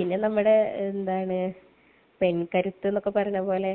പിന്നെ നമ്മടെ പെണ്കരുത്ത് എന്നൊക്കെ പറയണ പോലെ